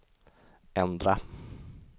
ändra